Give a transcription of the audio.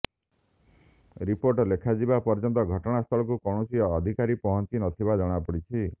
report ଲେଖାଯିବା ପର୍ଯ୍ୟନ୍ତ ଘଟଣାସ୍ଥଳକୁ କୌଣସି ଅଧିକାରୀ ପହଞ୍ଚି ନଥିବା ଜଣାପଡ଼ିଛି